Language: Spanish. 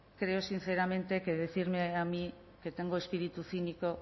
creo sinceramente que decirme a mí que tengo espíritu cínico